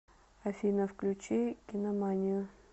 афина включи киноманию